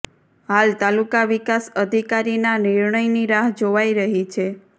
હાલ તાલુકા વિકાસ અધિકારીના નિર્ણયની રાહ જોવાય રહી છે